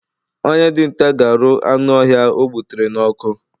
Onye dinta ga aru anu ohia o gbutere n'ọkụ